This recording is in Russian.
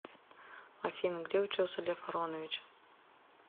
афина где учился лев аронович